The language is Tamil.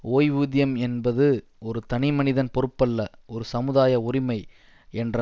ஓய்வூதியம் என்பது ஒரு தனிமனிதன் பொறுப்பல்ல ஒரு சமுதாய உரிமை என்ற